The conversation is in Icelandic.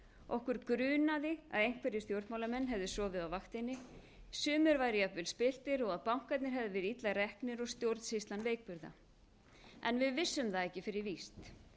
okkur grunaði að einhverjir stjórnmálamenn hefðu sofið á vaktinni sumir væru jafnvel spilltir og að bankarnir hefðu verið illa reknir og stjórnsýslan veikburða en við vissum það ekki fyrir víst